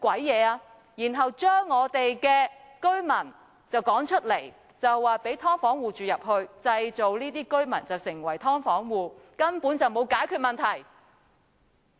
然後，把我們的居民趕出，讓"劏房戶"入住，而那些被趕出的居民則被迫成為"劏房戶"，所以根本就沒有解決問題。